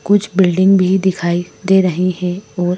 कुछ बिल्डिंग भी दिखाई दे रही हैं और--